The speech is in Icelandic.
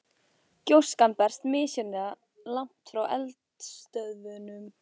Gjóskan berst misjafnlega langt frá eldstöðvunum.